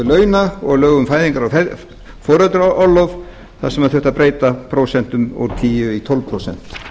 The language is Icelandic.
launa og lög um fæðingarorlof þar sem þurfti að breyta prósentum úr tíu í tólf prósent